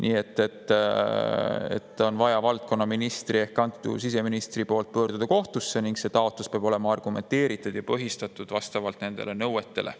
Nii et valdkonnaministril ehk siseministril on vaja pöörduda kohtusse ning see taotlus peab olema argumenteeritud ja põhistatud vastavalt nendele nõuetele.